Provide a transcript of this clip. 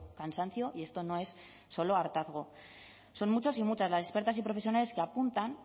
cansancio y esto no es solo hartazgo son muchos y muchas las expertas y profesionales que apuntan